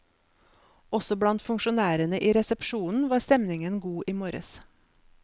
Også blant funksjonærene i resepsjonen var stemningen god i morges.